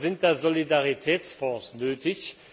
Sind da Solidaritätsfonds nötig?